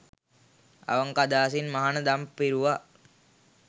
අවංක අදහසින් මහණ දම් පිරුවා